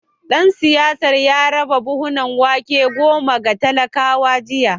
Dan siyasar ya raba buhunan wake goma ga talakawa jiya